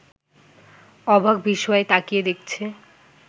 অবাক বিস্ময়ে তাকিয়ে দেখছে